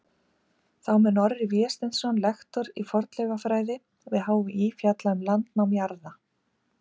Þá mun Orri Vésteinsson, lektor í fornleifafræði við HÍ, fjalla um landnám jarðar.